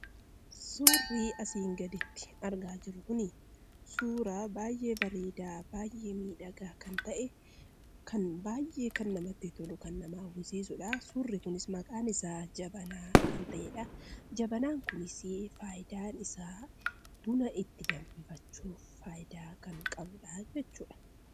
Suurri asiin gaditti argaa jirru kunii suuraa baay'ee bareeda baay'ee miidhaga kan ta'e kan baay'ee namatti tolu kan nama hawwiisisudha. Suurri kun maqaan isaa jabaana kan ta'eedha. Jabaanan kunis faayidaan isaa buna itti danfifaachuf faayidaa kan qabudha jechudha.